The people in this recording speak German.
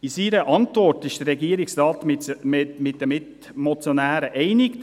In seiner Antwort geht der Regierungsrat mit den Mitmotionären einig: